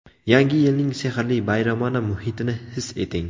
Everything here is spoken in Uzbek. Yangi yilning sehrli bayramona muhitini his eting!